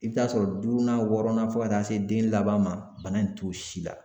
I bɛ taa sɔrɔ duurunan wɔɔrɔnan fo ka taa se den laban ma bana in t'o si la